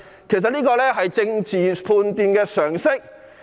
其實，這是政治判斷的常識。